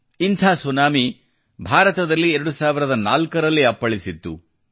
ಇಂಥ ಸುನಾಮಿ ಭಾರತದಲ್ಲಿ 2004 ರಲ್ಲಿ ಅಪ್ಪಳಿಸಿತ್ತು